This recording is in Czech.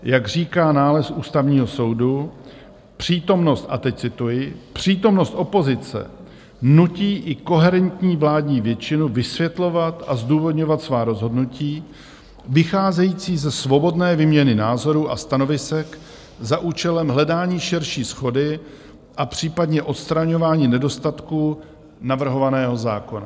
Jak říká nález Ústavního soudu, přítomnost - a teď cituji - přítomnost opozice nutí i koherentní vládní většinu vysvětlovat a zdůvodňovat svá rozhodnutí vycházející ze svobodné výměny názorů a stanovisek za účelem hledání širší shody a případně odstraňování nedostatků navrhovaného zákona.